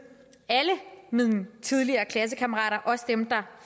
alle mine tidligere klassekammerater også dem der